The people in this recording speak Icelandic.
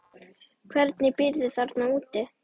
Hvernig býrðu þarna úti?